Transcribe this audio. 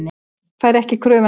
Fær ekki kröfuna greidda